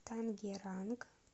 тангеранг